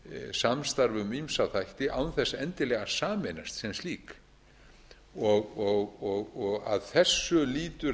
samstarf um ýmsa þætti án þess endilega að sameinast sem slík að þessu lýtur